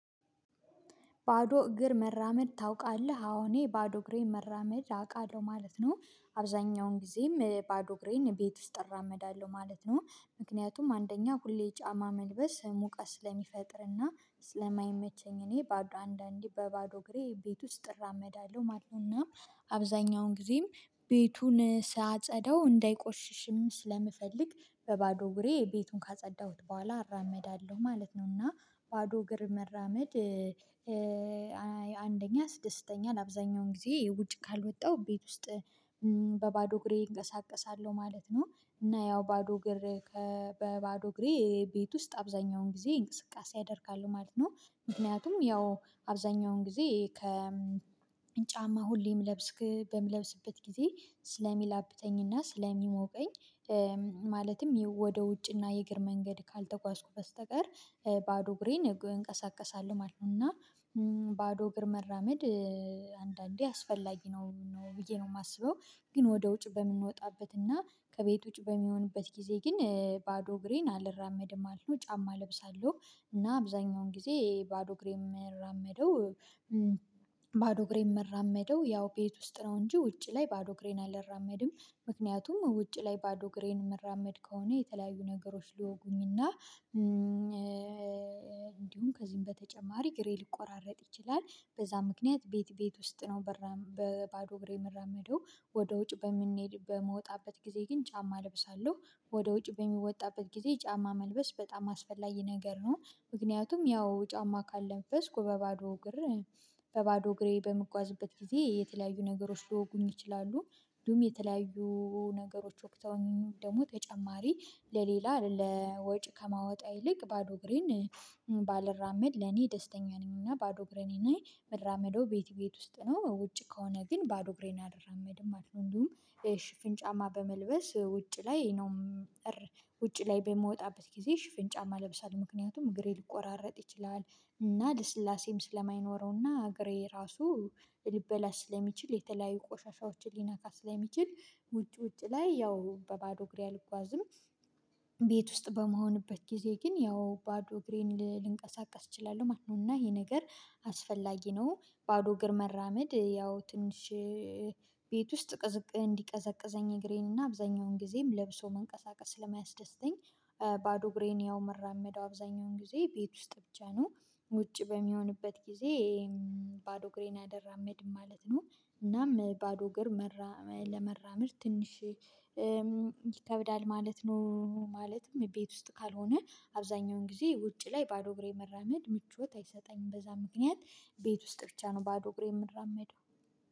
ባዶ እግር መራመድ ታውቃለህ? አዎ እኔ ባዶ እግሬን መራመድ አውቃለሁ ማለት ነው። አብዛኛውን ጊዜም ባዶ እግሬን ቤት ውስጥ እራመዳለሁ ማለት ነው ምክንያቱም አንደኛ ሁሌ ጫማ መልበስ ሙቀስ ስለሚፈጥርና ስለማይመቸኝ እኔ በአንዳንዴ በባዶ እግሬ ቤት ውስጥ እራመዳለሁ ማለት ነው። እና አብዛኛውን ጊዜም ቤቱን ሳጸደው እንዳይቆሽሽም ስለምፈልግ በባዶ እግሬ ቤቱን ካጸዳሁት በኋላ እራመዳለሁ ማለት ነው። እና ባዶ እግር መራመድ አንደኛ ያ ስድስተኛ ለአብዛኛውን ጊዜ ውጭ ካልወጣው ቤት ውስጥ በባዶ እግሬ እንቀሳቀሳለሁ ማለት ነው። እና ያው ባዶ እግሬ በባዶ እግሬ ቤት ውስጥ አብዛኛውን ጊዜ እንቅስቃሴ አደርጋሉ ማለት ነው። ምክንያቱም ያው አብዛኛውን ጊዜ ከ ጫማ ሁሌም ምለብስ በምለብስበት ጊዜ ስለሚላብጠኝና ስለሚሞቀኝ። ማለትም ወደ ውጭና የእግር መንገድ ካልተጓዝኩ በስተቀር ባዶ እግሬን እንቀሳቀሳለሁ ማለት ነው። እና ባዶ እግር መራመድ አንዳንዴ አስፈላጊ ነው ብዬ ነው የማስበው። ግን ወደ ውጭ በምንወጣበትና ከቤት ውጭ በሚሆንበት ጊዜ ግን ባዶ እግሬን አልራመድም አልኖ ጫማ እለብሳለሁ። እና አብዛኛውን ጊዜ ባዶ እግሬ የምራመደው ባዶ እግሬ የምራመደው ያው ቤት ውስጥ ነው እንጂ ውጭ ላይ ባዶ እግሬን አልራመድም። ምክንያቱም ውጭ ላይ ባዶ እግሬን መራመድ ከሆነ የተለያዩ ነገሮች ልወጉኝና እንዲሁም ከዚህም በተጨማሪ ግሬ ሊቆራረጥ ይችላል። በዛ ምክንያት ቤት ቤት ውስጥ ነው በባዶ ግሬ የምራመደው። ወደ ውጭ በምንሄድ በምወጣበት ጊዜ ግን ጫማ እለብሳለሁ ወደ ውጭ በሚወጣበት ጊዜ ጫማ መልበስ በጣም አስፈላጊ ነገር ነው። ምክንያቱም ያው ጫማ ካለበስኩ በባዶ እግሬ በባዶ እግሬ በምጓዝበት ጊዜ የተለያዩ ነገሮች ሊወጉኝ ይችላሉ። እንዲሁም የተለያዩ ነገሮች ወግተውኝ ደግሞ ተጨማሪ ለሌላ ለወጪ ከማወጣ ይልቅ ባዶ ግሬን ባለራመድ ለኔ ደስተኛ ነኝና ባዶ እግሬን እኔ ምራመደው ቤት ቤት ውስጥ ነው ውጪ ከሆነ ግን ባዶ እግሬን አልራመድም ማለት ነው። እንዲሁም ሽፍን ጫማ በመልበስ ውጪ ላይ ነው። ውጪ ላይ በምወጣበት ጊዜ ሽፍን ጫማ ለብሳል ምክንያቱም እግሬ ሊቆራረጥ ይችላል። እና ልስላሴም ስለማይኖረውና እግሬ ራሱ ሊበላሽ ስለሚችል የተለያዩ ቆሻሻዎችን ሊነካ ስለሚችል ውጭ ውጭ ላይ ያው በባዶ ግሪያ ልጓዝም። ውስጥ በመሆንበት ጊዜ ግን ያው ባዶ እግሬን ልንቀሳቀስ እችላለሁ ማለት ነው እና ይሄ ነገር አስፈላጊ ነው። ባዶ እግር መራመድ ያው ትንሽ ቤት ውስጥ እንዲቀዘቅዘኝ እግሬንና አብዛኛውን ጊዜም ለብሶ መንቀሳቀስ ለማያስደስተኝ ባዶ እግሬን ያው መራመደው አብዛኛውን ጊዜ ቤት ውስጥ ብቻ ነው። ውጪ በሚሆንበት ጊዜ ባዶ እግሬን አልራመድም ማለት ነው። እናም ባዶ እግር ለመራምር ትንሽ ይከብዳል ማለት ነው። ማለትም ቤት ውስጥ ካልሆነ አብዛኛውን ጊዜ ውጪ ላይ ባዶ እግሬ መራመድ ምቾት አይሰጠኝም በዛ ምክንያት። ቤት ውስጥ ብቻ ነው ባዶ እግሬ የምራመደው።